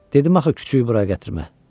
Dedim axı küçüyü bura gətirmə.